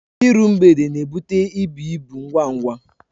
Iru mgbede n'ebute ibu ibu ngwa ngwa